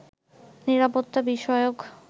নিরাপত্তা বিষয়ক